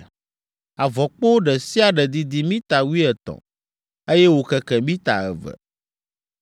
Avɔkpo ɖe sia ɖe didi mita wuietɔ̃, eye wòkeke mita eve.